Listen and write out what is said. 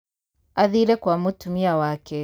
Athire kwa mũtumia wake.